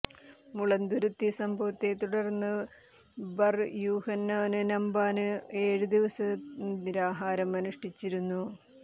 മുളന്തുരുത്തി സംഭവത്തെ തുടര്ന്ന് ബര് യൂഹനോന് റമ്പാന് ഏഴ് ദിവസം നിരാഹാരം അനുഷ്ഠിച്ചിരുന്നു